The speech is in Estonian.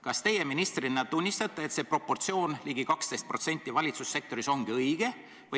Kas teie ministrina tunnistate, et see proportsioon, ligi 12% valitsussektoris, ongi õige?